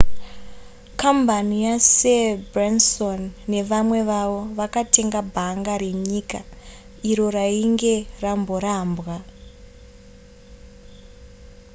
kambani yasir branson nevamwe vavo vakatenga bhanga renyika iro rainge ramborambwa